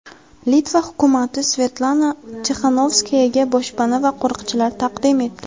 Litva hukumati Svetlana Tixanovskayaga boshpana va qo‘riqchilar taqdim etdi.